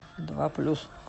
два плюс